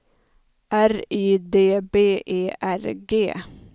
R Y D B E R G